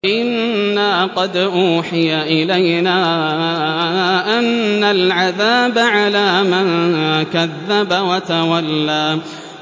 إِنَّا قَدْ أُوحِيَ إِلَيْنَا أَنَّ الْعَذَابَ عَلَىٰ مَن كَذَّبَ وَتَوَلَّىٰ